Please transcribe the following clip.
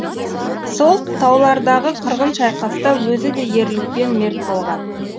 сол таулардағы қырғын шайқаста өзі де ерлікпен мерт болған